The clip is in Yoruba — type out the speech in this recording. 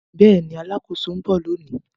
Bẹẹni, oluṣakoso n bọ loni